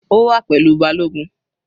Ó wà pẹ̀lú balogun.